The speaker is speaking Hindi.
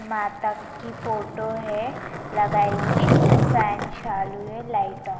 माता जी की फोटो है लगाई हुई फैन चालू है लाईटा --